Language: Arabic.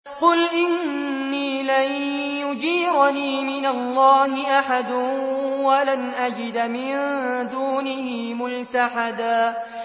قُلْ إِنِّي لَن يُجِيرَنِي مِنَ اللَّهِ أَحَدٌ وَلَنْ أَجِدَ مِن دُونِهِ مُلْتَحَدًا